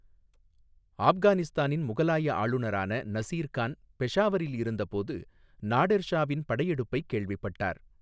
ஆப்கானிஸ்தானின் முகலாய ஆளுநரான நசீர் கான் பெஷாவரில் இருந்தபோது, நாடெர் ஷாவின் படையெடுப்பைக் கேள்விப்பட்டார்.